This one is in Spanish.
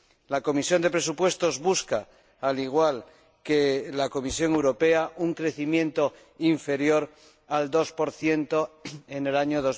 La Comisión de Presupuestos busca, al igual que la Comisión Europea, un crecimiento inferior al 2 en el año